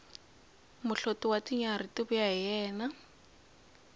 muhloti wa tinyarhi ti vuya hi yena